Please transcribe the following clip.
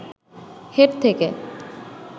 head থেকে